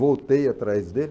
Voltei atrás dele.